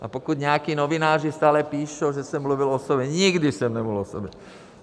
A pokud nějací novináři stále píšou, že jsem mluvil o sobě - nikdy jsem nemluvil o sobě!